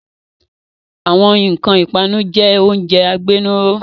Àwọn nkan ipanu jẹ oúnjẹ agbénúró